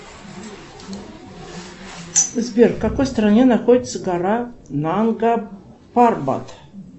сбер в какой стране находится гора нанга парбат